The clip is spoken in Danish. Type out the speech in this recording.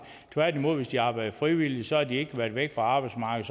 tværtimod at hvis de arbejder frivilligt så har de ikke været væk fra arbejdsmarkedet